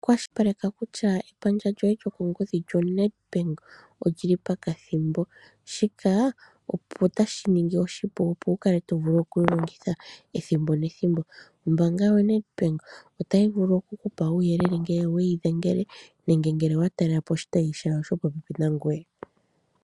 Kwashilipaleka kutya epandja lyoye lyokongodhi lyoNedbank olyi li pakathimbo. Shika otashi ningi oshipu, opo wu kale to vulu oku yi longitha ethimbo nethimbo. Ombaanga yaNedbank otayi vulu oku ku pa uuyelele ngele weyi dhengele nenge ngele owa talele po oshitayi shawo shopopepi nangoye.